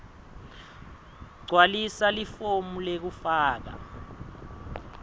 gcwalisa lelifomu lekufaka